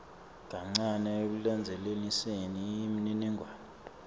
kancane ekulandzelaniseni imininingwane